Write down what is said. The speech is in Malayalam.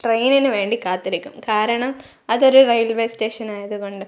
ട്രെയിനിനു വേണ്ടി കാത്തിരിക്കും കാരണം അതൊരു റെയിൽവേ സ്റ്റേഷൻ ആയതുകൊണ്ട്.